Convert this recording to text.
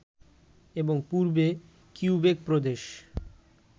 এবং পূর্বে কিউবেক প্রদেশ